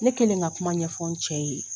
Ne kelen ka kuma ɲɛfɔ n cɛ ye